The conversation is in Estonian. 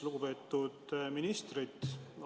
Lugupeetud ministrid!